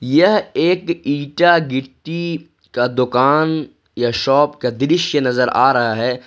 यह एक इटा गिट्टी का दुकान या शॉप का दृश्य नजर आ रहा है।